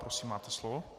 Prosím, máte slovo.